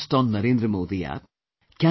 Can you post on NarendraModiApp